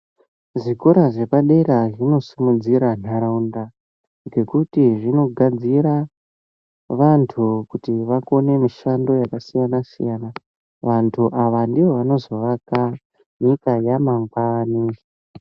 Zvikora zvepadera zvinosimudzira nharaunda ngekuti zvinogadzira vantu kuti vakone mishando yakasiyana-siyana. Vantu ava ndivo vanozoaka nyika yamanngwani.